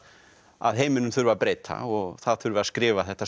að heiminum þurfi að breyta og það þurfi að skrifa þetta